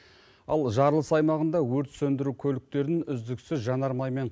ал жарылыс аймағында өрт сөндіру көліктерін үздіксіз жанармаймен